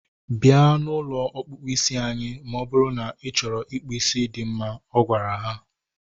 Bịa na ụlọ ọkpụkpụ isi anyị ma ọ bụrụ na ị chọrọ ịkpụ isi dị mma. Ọ gwara ha